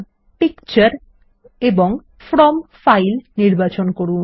এবং তারপর পিকচার ও ফ্রম ফাইল নির্বাচন করুন